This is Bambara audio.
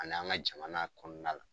A n'an ga jamana kɔnɔna la